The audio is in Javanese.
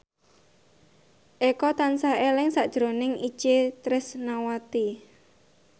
Eko tansah eling sakjroning Itje Tresnawati